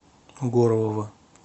горлова